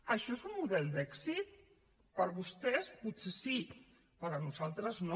això és un model d’èxit per vostès potser sí per nosaltres no